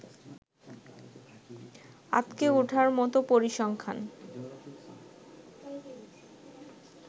আঁতকে উঠার মতো পরিসংখ্যান